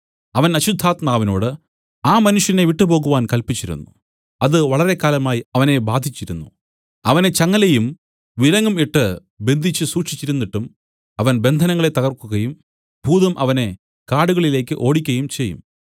അവൻ അശുദ്ധാത്മാവിനോട് ആ മനുഷ്യനെ വിട്ടുപോകുവാൻ കല്പിച്ചിരുന്നു അത് വളരെക്കാലമായി അവനെ ബാധിച്ചിരുന്നു അവനെ ചങ്ങലയും വിലങ്ങും ഇട്ട് ബന്ധിച്ചു സൂക്ഷിച്ചിരുന്നിട്ടും അവൻ ബന്ധനങ്ങളെ തകർക്കുകയും ഭൂതം അവനെ കാടുകളിലേക്ക് ഓടിക്കയും ചെയ്യും